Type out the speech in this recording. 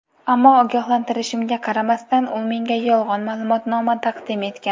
Ammo ogohlantirishimga qaramasdan u menga yolg‘on ma’lumotnoma taqdim etgan.